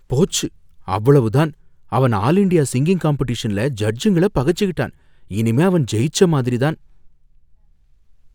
போச்சு, அவ்வளவு தான்! அவன் ஆல் இன்டியா சிங்கிங் காம்பெடிஷன்ல ஜட்ஜுங்கள பகச்சுக்கிட்டான், இனிமே அவன் ஜெயிச்ச மாதிரி தான்.